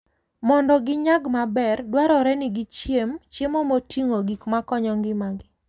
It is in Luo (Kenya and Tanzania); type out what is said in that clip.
Mondo ginyag maber, dwarore ni gichiem chiemo moting'o gik makonyo ngimagi.